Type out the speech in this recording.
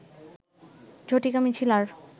ঝটিকা মিছিল আর